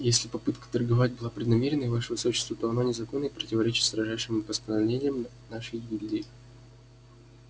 если попытка торговать была преднамеренной ваше высочество то она незаконна и противоречит строжайшим постановлениям нашей гильдии